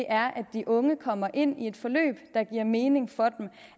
er at de unge kommer ind i et forløb der giver mening for dem